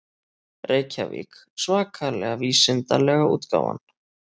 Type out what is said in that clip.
Reykjavík: Svakalega vísindalega útgáfan.